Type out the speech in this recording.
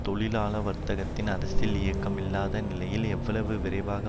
தொழிலாள வர்த்தகத்தின் அரசியல் இயக்கம் இல்லாத நிலையில் எவ்வளவு விரைவாக